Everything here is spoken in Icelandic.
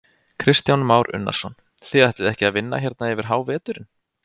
Kristján Már Unnarsson: Þið ætlið ekki að vinna hérna yfir háveturinn?